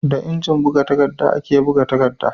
Da injin buga takadda ake buga takadda